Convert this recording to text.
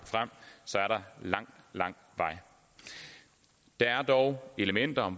lang lang vej der er dog elementer